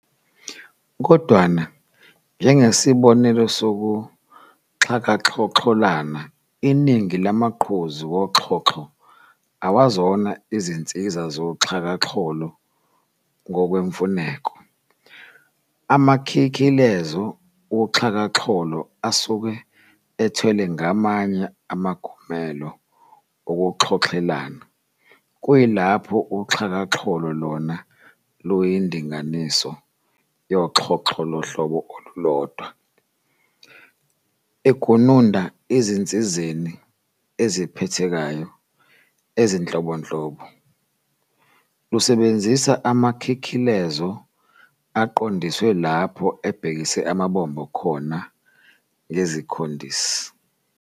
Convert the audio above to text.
Kodwana, njengesibobelo sokuxhakaxhoxholana, iningi lamaqhuzu woxhoxho awazona izinsiza zoxhakaxholo ngokwemfuneko, amakhikhilezo woxhakaxholo asuke athwelwe ngamanye amagumelo wokuxhoxhelana kuyilapho uxhakaxholo lona luyindinganiso yoxhoxho lohlobo olulodwa, egununda ezinsizeni eziphathekayo ezinhlobonhlobo, lusebenzisa amakhikhilezo aqondiswe lapho abhekise amabombo khona ngezikhondisi.